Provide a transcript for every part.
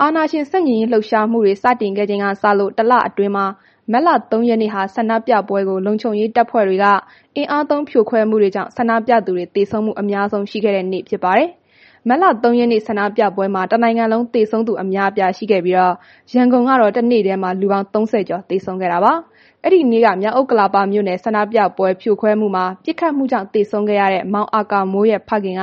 အာဏာရှင် ဆန့်ကျင်ရေးလှုပ်ရှားမှုတွေ စတင်ခဲ့ချိန်ကစလို့ တစ်လအတွင်းမှာ မတ်လ ၃ ရက်နေ့ဟာ ဆန္ဒပြပွဲကို လုံခြုံရေးတပ်ဖွဲ့တွေက အင်အားသုံး ဖြိုခွဲမှုတွေကြောင့် ဆန္ဒပြသူတွေ သေဆုံးမှု အများဆုံးရှိခဲ့တဲ့နေ့ဖြစ်ပါတယ်။ မတ်လ ၃ ရက်နေ့ ဆန္ဒပြပွဲမှာ တစ်နိုင်ငံလုံး သေဆုံးသူ အများအပြားရှိခဲ့ပြီး ရန်ကုန်ကတော့ တစ်နေ့တည်းမှာ လူပေါင်း ၃၀ ကျော် သေဆုံးခဲ့တာပါ။ အဲ့ဒီနေ့က မြောက်ဥက္ကလာပ မြို့နယ် ဆန္ဒပြပွဲဖြိုခွဲမှုမှာ ပစ်ခတ်မှုကြောင့် သေဆုံးခဲ့ရတဲ့ မောင်အာကာမိုးရဲ့ ဖခင်က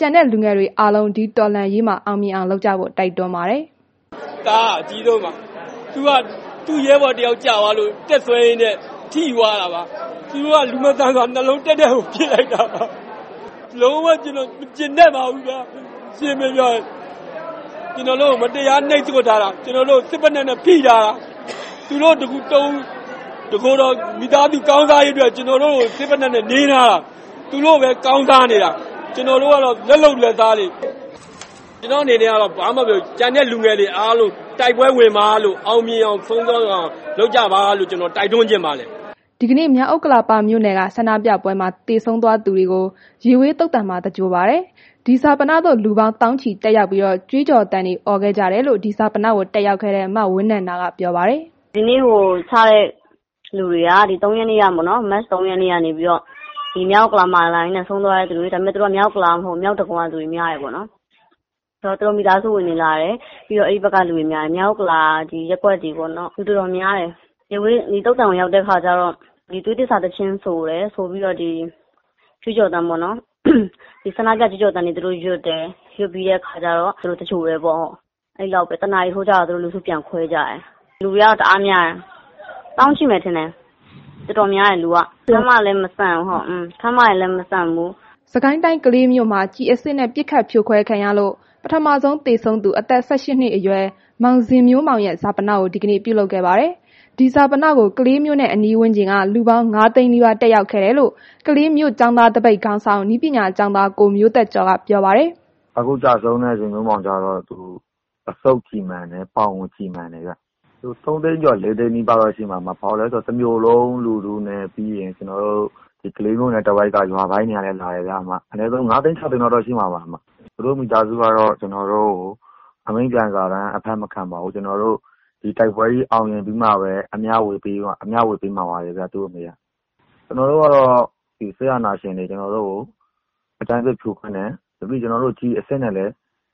ကျန်တဲ့လူငယ်တွေအားလုံးဒီတောလှန်ရေးမှာ အောင်မြင်အောင် လုပ်ကြဖို့ တိုက်တွန်းပါတယ်။ “သားက အကြီးဆုံးပါ။ သူက သူ့ရဲဘော်တစ်ယောက်ကျသွားလို့ တက်ဆွဲရင်းနဲ့ ထိသွားတာပါ။ သူတို့က လူမဆန်စွာ နှလုံးတည့်တည့်ကို ပစ်လိုက်တာပါ။ လုံးဝ ကျွန်တော် မကြေနပ်ပါဘူးဗျာ။ ကျွန်တော်တို့ကို မတရားနှိပ်ကွပ်ထားတာ။ ကျွန်တော်တို့ကို စစ်ဖိနပ်နဲ့ ဖိထားတာ။ သူတို့ တစ်ကိုယ်တော် မိသားစု ကောင်းစားရေးအတွက် ကျွန်တော်တို့ကို စစ်ဖိနပ်နဲ့ နင်းထားတာ။ သူတို့ပဲ ကောင်းစားနေတာ၊ ကျွန်တော်တို့ကတော့ လက်လုပ်လက်စားတွေ။ ကျွန်တော့်အနေနဲ့ကတော့ ကျန်တဲ့လူငယ်တွေ အားလုံး တိုက်ပွဲဝင်ပါလို့ အောင်မြင်အောင် လုပ်ကြပါလို့ ကျွန်တော်တိုက်တွန်းချင်ပါတယ်။” ဒီကနေ့ မြောက်ဥက္ကလာပ မြို့နယ်က ဆန္ဒပြပွဲမှာ သေဆုံးသွားသူတွေကို ရေဝေးသုသာန်မှာ သဂြိုလ်ပါတယ်။ ဒီဈာပနသို့ လူပေါင်း သောင်းချီတက်ရောက်ပြီး ကြွေးကြော်သံတွေ အော်ခဲ့ကြတယ်လို့ အဲ့ဒီဈာပနကို တက်ရောက်ခဲ့တဲ့ မဝင်းနန္ဒာက ပြောပါတယ်။ “ဒီနေ့ ဈာပနက မတ် ၃ ရက်နေ့ကပေါ့နှော်၊ ဒီမြောက်ဥက္ကလာကို လာရင်းဆုံးသွားတဲ့သူတွေ၊ ဒါပေမယ့်သူတို့က မြောက်ဥက္ကလာကဟုတ်ဘူး။ မြောက်ဒဂုံက လူတွေများတယ်ပေါ့နှော်။ ဆိုတော့ သူတို့ မိသားစုဝင်တွေလာတယ်။ ပြီးတော့ သူတို့ဖက်ကလူတွေများတယ်၊ ဒီမြောက်ဥက္ကလာရပ်ကွက်တွေပေါ့နှော်၊ တော်တော်များတယ်။ သုဿာန်ကို ရောက်တဲ့ခါကျတော့ သွေးသစ္စာ သီချင်းဆိုတယ်။ ဆိုပြီးတော့ ကြွေးကြော်သံပေါ့နှော်၊ ဆန္ဒပြကြွေးကြော်သံတွေ သူတို့ရွတ်တယ်။ ရွတ်ကြပြီးတော့ တစ်နာရီလောက်ကျတော့ လူစုပြန်ခွဲကြတယ်။ လူတွေကတော့ တအားများတယ်။ သောင်းချီမယ်ထင်တယ်။ တော်တော်များတယ်။ ခန်းမလဲ မဆန့်ဘူး။” စစ်ကိုင်းတိုင်းကလေးမြို့မှာ ကျည်အစစ်နဲ့ ပစ်ခတ်ဖြိုခွဲခံရလို့ ပထမဆုံးသေဆုံးသူ အသက် ၁၈ နှစ်အရွယ် မောင်ဇင်မျိုးမောင်ရဲ့ ဈာပနကို ဒီကနေ့ ပြုလုပ်ခဲ့ပါတယ်။ ဒီဈာပနကို ကလေးမြို့နဲ့ အနီးဝန်းကျင်က လူပေါင်း ၅ သိန်းနီးပါး တက်ရောက်ခဲ့တယ်လို့ ကလေးမြို့ကျောင်းသားသပိတ် ခေါင်းဆောင် နည်းပညာကျောင်းသား ကိုမျိုးသက်ကျော်က ပြောပါတယ်။ “အခုကျဆုံးတဲ့ ဇင်မျိုးမောင်က အဆုတ်ကျည်မှန်တယ် ပေါင်ကို ကျည်မှန်တယ်ပေါ့။ ၃ သိန်းကျော် ၄ သိန်းနီးပါးပေါ့ တစ်မြို့လုံးလူထုနဲ့ ပြီးတော့ ကလေးမြို့နယ်တစ်ဝိုက်က ရွာတွေကလည်း လာကြတယ်ဗျ။ အနည်းဆုံး ၅ သိန်း ၆ သိန်းလောက်တော့ ရှိမှာပါ။ သူတို့မိသားစုကတော့ ကျွန်တော်တို့ကို အမိန့်ပြန်စာတမ်း အဖတ်မခံပါဘူး။ ကျွန်တော်တို့ ဒီတိုက်ပွဲကြီး အောင်မြင်ပြီးမှာပဲ အမျှဝေးပေးပါတဲ့ဗျ။ သူတို့တွေက။ ကျွန်တော်တို့ကတော့ စစ်အာဏာရှင်တွေသည် ကျွန်တော်တို့ကို အကြမ်းဖက် ဖြိုခွင်းတယ်။ ကျည်အစစ်နဲ့လည်း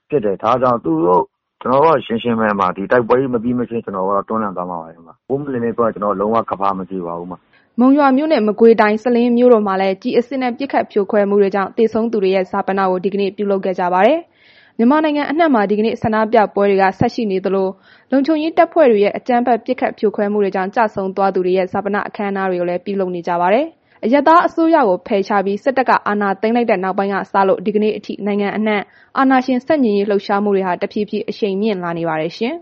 ပစ်တယ်။ ဒါကြောင့် သူတို့ကို ကျွန်တော်တို့က ဒီတိုက်ပွဲကြီး မပြီးမချင်းကျွန်တော်တို့က တွန်းလှန်သွားမှာပါ။ ကျွန်တော်တို့ လုံးဝ ကမ္ဘာမကြေပါဘူး။” မုံရွာမြို့နှင့် မကွေးတိုင်း စလင်းမြို့တို့မှာလည်း ကျည်အစစ်နဲ့ ပစ်ခတ်ဖြိုခွဲမှုတွေကြောင့် သေဆုံးသူတွေရဲ့ ဈာပနကို ဒီကနေ့ ပြုလုပ်ခဲ့ကြပါတယ်။ မြန်မာနိုင်ငံအနှံမှာ ဒီကနေ့ ဆန္ဒပြပွဲတွေ ဆက်ရှိနေသလို လုံခြုံရေးတပ်ဖွဲ့တွေရဲ့ အကြမ်းဖက် ပစ်ခတ် ဖြိုခွဲမှုတွေကြောင့် ကျဆုံးသွားကြသူတွေရဲ့ ဈာပန အခမ်းအနားတွေလည်းပြုလုပ်နေကြပါတယ်။ အရပ်သားအစိုးရကို ဖယ်ရှားပြီး စစ်တပ်က အာဏာသိမ်း လိုက်တဲ့ နောက်ပိုင်းကစလို့ ဒီကနေ့ အထိ နိုင်ငံအနှံ့အာဏာရှင် ဆန့်ကျင်လှုပ် ရှားမှုတွေဟာ တဖြည်းဖြည်း အရှိန်မြင့်လာနေပါတယ်ရှင်။